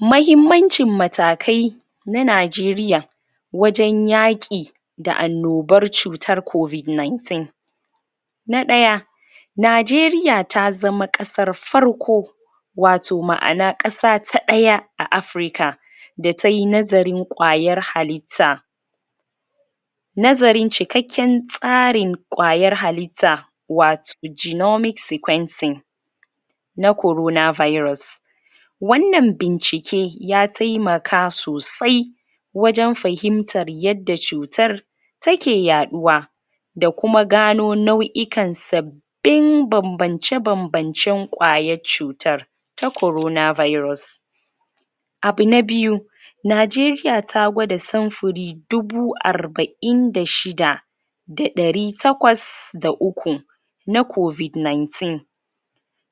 Mahimmancin matakai Na najeriya Wajen yaƙi Da annobar cutar covid 19 Na daya Najeriya ta zama kasar farko Wato ma'ana kasa ta daya, a afirika Da tai nazarin kwayar hallita Nazarin cikakken tsarin, Kwayar hallita Wato genetic sequencing Na corona virus Wannan bincike ya taimaka sosai Wajen fahimtar yadda cutar Take yaduwa Da kuma gano nau'ikan sab, bin banbance banbance kwayar cutar Ta korona virus Abu na biyu Nigeriya ta gwada samfari Dubu arba'in da shida Da ɗari takwas da uku Na covid 19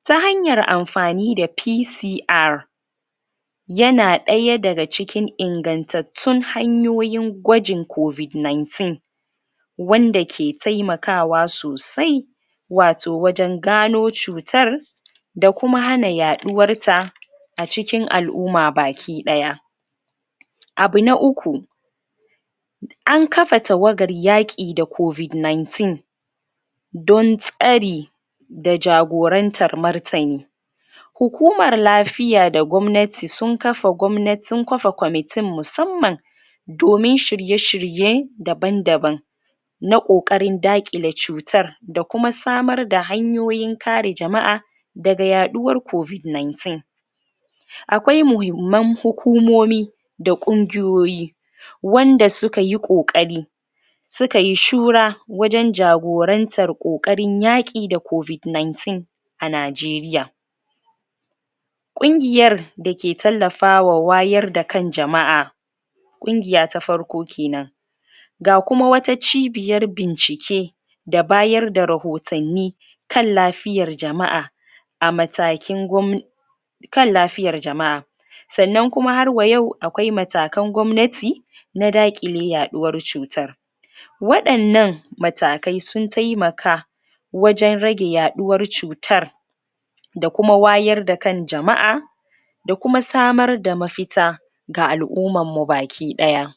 Ta hanyar amfani da P.C.R Yana daya daga cikin ingantattun hanyoyin gajin covid 19 Wanda ke taimakawa sosai Wato wajen gano cutar, Da kuma hana yaduwar ta, A cikin al'umma baki daya Abu na uku An kafa tawagar yaki da covid 19 Don tsari, Da jagorantar martani Hukumar lafiya da gwamnati sun kafa gwamnatin sun kafa komitin musamman, Domin shirye shirye daban daban Na Ƙokarin daƘile cutar Da kuma samar da hanyoyin kare jama'a Daga yaduwar covid 19 Akwai mahimman hukumomi Da Ƙungiyoyi Wanda sokayi Ƙokari Sukai shura Wajen jagorantar kokarin yaki da covid 19 A najiriya Kungiyar, Dake tallafawa wayar da kan jama'a Ƙungiya ta farko kenan Ga kuma wata cibiyar bincike Da bayar da rahutanni Kan lafiyar jama'a A matakin gwam, Kan lafiyar jama'a Sannan kuma harwa yau akwai matakan gwamnati Na daƘile yaduwar cutar Wadannan Matakai sun taimaka Wajen rage yaduwar cutar Da kuma wayar da kan jama'a Da kuma samar da mafita Ma al'ummanmu baki daya